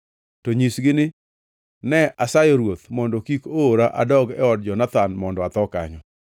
to nyisgi ni, ‘Ne asayo ruoth mondo kik oora adog e od Jonathan mondo atho kanyo.’ ”